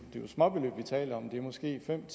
småbeløb vi taler om det er måske fem